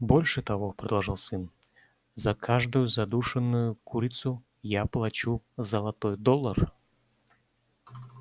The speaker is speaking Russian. больше того продолжал сын за каждую задушенную курицу я плачу золотой доллар